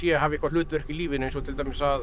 hafi eitthvað hlutverk í lífinu eins og til dæmis að